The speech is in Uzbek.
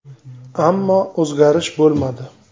Ammo o‘zgarish bo‘lmadi.